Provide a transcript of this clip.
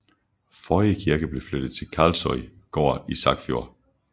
Forrige kirke blev flyttet til Karlsøy gård i Sagfjord